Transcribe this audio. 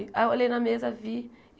Aí eu olhei na mesa, vi.